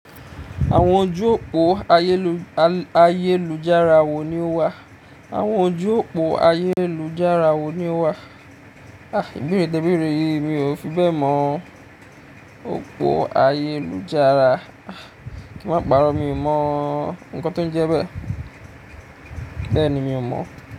Àwọn ojú òpó ayélujára wo ni ó wà? Àwọn ojú òpó ayélujára wo ni ó wà? Ah, ìbéèrè tẹ ìbéèrè yìí mi ò fi bẹ́ẹ̀ mọ̀. Òpó ayélujára, ah, kí ń má pàrọ́ mi ò mọ́. Ǹkan tó ń jẹ bẹ́ẹ̀. Bẹ́ẹ̀ ni, mi ò mọ̀